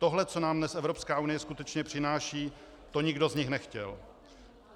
Tohle, co nám dnes Evropská unie skutečně přináší, to nikdo z nich nechtěl.